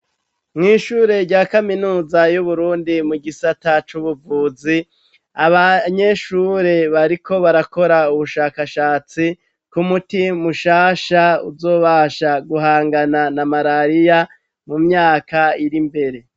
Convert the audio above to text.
Mw' ishure rya kaminuza y'Uburundi mu gisata c'ubuvuzi, abanyeshure bariko barakora ubushakashatsi ku muti mushasha uzobasha guhangana na marariya mu myaka irimbere